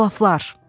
Əclafllar!